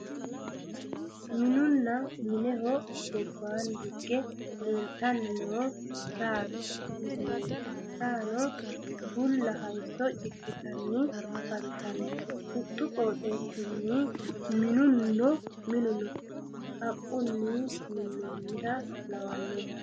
minunna mineho gobbaanni higge leeltanni noo saate misileeti, saano bulla hayiisso cidhitanni afantanno huxxu qooxeessinni. minuno haqqunni minnoonniha lawanno yaate.